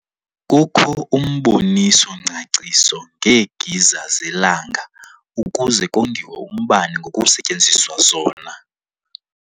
Kukho umboniso-ngcaciso ngeegiza zelanga ukuze kongiwe umbane ngokusetyenziswa zona.